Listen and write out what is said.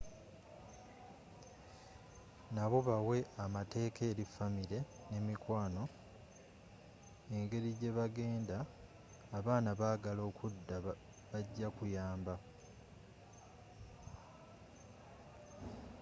nabo bawe amateeka eri famire ne mikwano engerigyeba genda abanaba bagala okudda bagya kuyamba